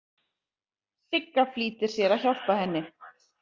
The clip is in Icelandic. Sigga flýtir sér að hjálpa henni.